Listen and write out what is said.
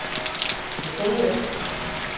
Ég segi upp!